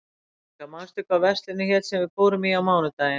Veróníka, manstu hvað verslunin hét sem við fórum í á mánudaginn?